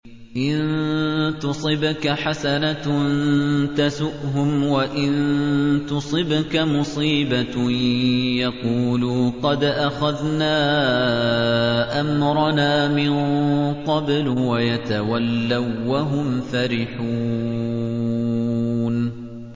إِن تُصِبْكَ حَسَنَةٌ تَسُؤْهُمْ ۖ وَإِن تُصِبْكَ مُصِيبَةٌ يَقُولُوا قَدْ أَخَذْنَا أَمْرَنَا مِن قَبْلُ وَيَتَوَلَّوا وَّهُمْ فَرِحُونَ